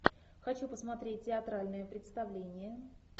хочу посмотреть театральное представление